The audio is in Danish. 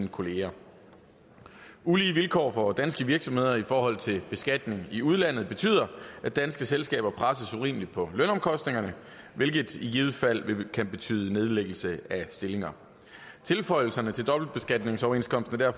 kollegaer ulige vilkår for danske virksomheder i forhold til beskatning i udlandet betyder at danske selskaber presses urimeligt på lønomkostningerne hvilket i givet fald kan betyde nedlæggelse af stillinger tilføjelserne til dobbeltbeskatningsoverenskomsten er